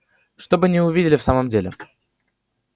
чтобы не увидели в самом деле